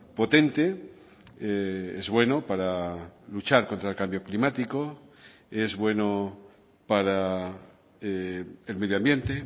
potente es bueno para luchar contra el cambio climático es bueno para el medioambiente